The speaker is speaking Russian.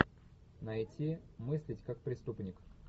найти мыслить как преступник